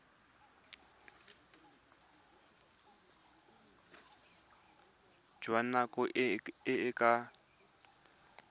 jwa nako e e ka